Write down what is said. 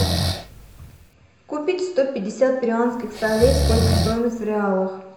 купить сто пятьдесят перуанских солей сколько стоимость в реалах